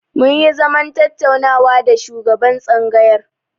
Mun yi zaman tattaunawa da shugaban tsangayar.